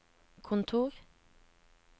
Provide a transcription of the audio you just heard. kontor